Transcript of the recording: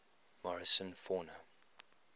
morrison fauna